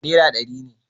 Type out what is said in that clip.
Nera dari ne